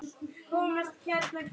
Þetta er allt að aukast.